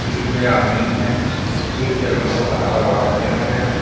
Field में आदमी है फील्ड के अगल-बगल हरा-भड़ा पेड़ है.